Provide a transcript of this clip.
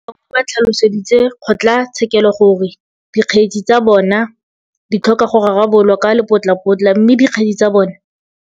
Ba bangwe ba tlhaloseditse kgotlatshekelo gore dikgetse tsa bona di tlhoka go rarabololwa ka lepotlapotla mme dikgetse tsa bona